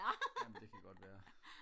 amen det kan godt værre